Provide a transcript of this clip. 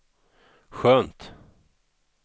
skönt